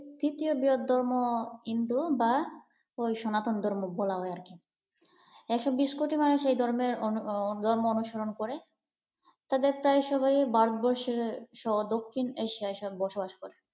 তৃতীয় বৃহত্তম হিন্দু বা ঐ সনাতন ধর্ম বলা হয় আর কি, একশো বিশ কোটি মানুষের এই ধর্মের ধর্ম অনুসরণ করে তাদের প্রায় সবাই ভারতবর্ষের সহ দক্ষিণ এশিয়ায় সব বসবাস করে।